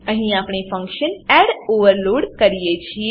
અહીં આપણે function add add overload કરીએ છીએ